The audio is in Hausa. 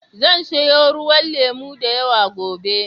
Zan siyo ruwan lemo da yawa gobe.